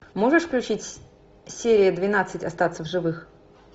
можешь включить серия двенадцать остаться в живых